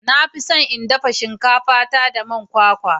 Na fi son in dafa shinkafa ta da man kwakwa.